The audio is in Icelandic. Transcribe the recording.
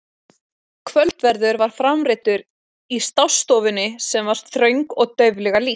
Kvöldverður var framreiddur í stássstofunni sem var þröng og dauflega lýst.